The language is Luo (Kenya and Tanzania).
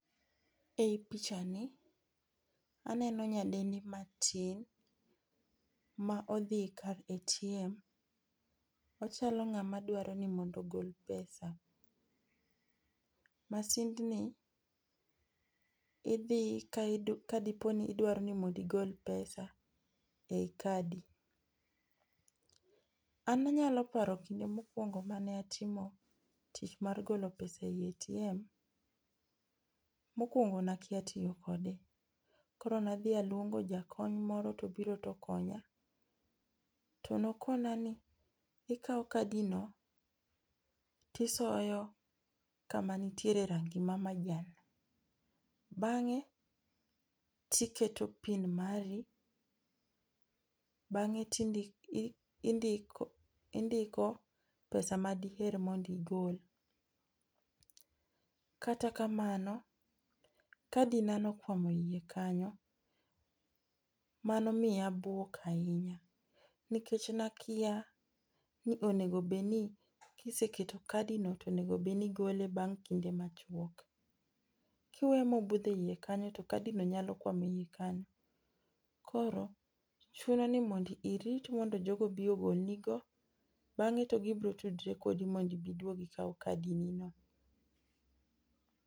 E i picha ni aneno nyadendi matin ma odhi e kar ATM. Ochalo ng'ama dawro ni mondo ogol pesa. Masind ni idhi kadipo ni idwaro ni mondo igol pesa e yi kadi. An anyalo paro e kinde mokwongo mane atimo tich mar golo pesa e ATM. Mokwongo ne akia tiyo kode. Koro ne adhi aluongo jakony moro to obiro to okonya. Tonokona ni ikaw kadi no tisoyo kama nitiere rangi ma majan. Bang'e tiketo PIN mari bang'e tindiko indiko pesa ma diher mond igol. Kata kamano, kadi na ne okwamo e yie kanyo. Manomiya abwok ahinya, Nikech ne akia ni onego bed ni kiseketo kadi no to enego bed ni igole bang' kinde machuok. Kiweye mobudho e yie kanyo to kadi no nyalo kwamo e yie kanyo. Koro, chuno ni mondo irit mondo jogo obi ogol nigo bang'e to gibiro tudore kodi mondo ibi iduogi ikaw kadi ni no.